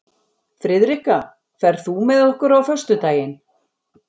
Friðrikka, ferð þú með okkur á föstudaginn?